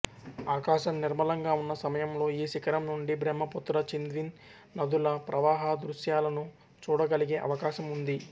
ఆకాశం నిర్మలంగా ఉన్న సమయంలో ఈ శిఖరం నుండి బ్రహ్మపుత్ర చింద్విన్ నదుల ప్రవాహదృశ్యాలను చూడగలిగే అవకాశం ఉంది